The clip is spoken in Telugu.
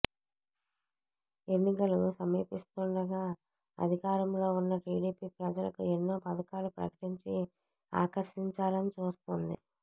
ఎన్నికలు సమీపిస్తుండగా అధికారంలో ఉన్న టిడిపి ప్రజలకు ఎన్నో పథకాలు ప్రకటించి ఆకర్షించాలని చూస్తోంది